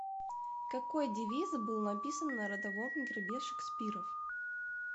какой девиз был написан на родовом гербе шекспиров